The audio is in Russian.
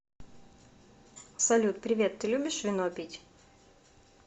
салют привет ты любишь вино пить